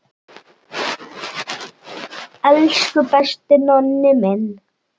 Elsku besti Nonni minn.